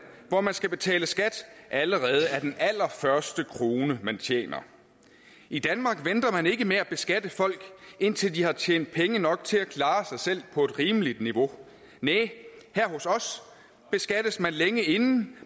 hvor man skal betale skat allerede af den allerførste krone man tjener i danmark venter man ikke med at beskatte folk indtil de har tjent penge nok til at klare sig selv på et rimeligt niveau næh her hos os beskattes de længe inden